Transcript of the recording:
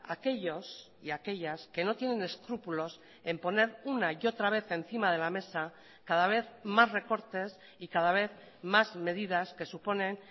a aquellos y a aquellas que no tienen escrúpulos en poner una y otra vez encima de la mesa cada vez más recortes y cada vez más medidas que suponen